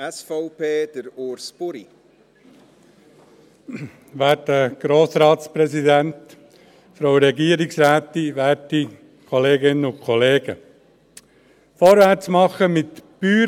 Vorwärts machen mit – ich